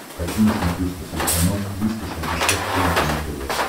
хочу на смотрешке телеканал триста шестьдесят пять дней тв